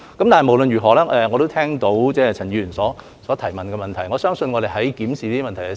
但是，無論如何，我也聽到陳議員所提出的補充質詢。